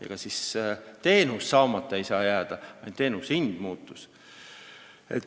Ega siis teenus saamata ei saa jääda, ainult teenuse hind muutus.